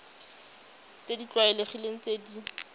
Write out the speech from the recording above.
tse di tlwaelegileng tse di